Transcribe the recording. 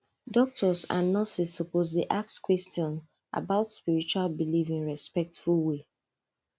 doctors and nurses suppose dey ask questions about spiritual belief in respectful way